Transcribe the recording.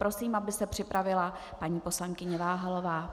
Prosím, aby se připravila paní poslankyně Váhalová.